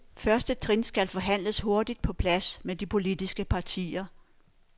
Første trin skal forhandles hurtigt på plads med de politiske partier.